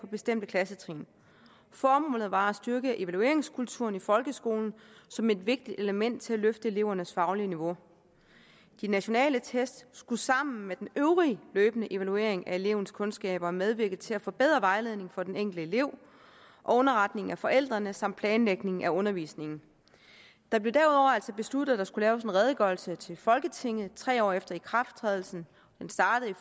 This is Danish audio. bestemte klassetrin formålet var at styrke evalueringskulturen i folkeskolen som et vigtigt element til at løfte elevernes faglige niveau de nationale test skulle sammen med den øvrige løbende evaluering af elevens kundskaber medvirke til at forbedre vejledningen for den enkelte elev og underretningen af forældrene samt planlægningen af undervisningen det blev derudover altså besluttet at der skulle laves en redegørelse til folketinget tre år efter ikrafttrædelsen det startede i